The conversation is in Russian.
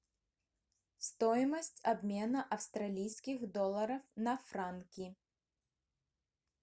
стоимость обмена австралийских долларов на франки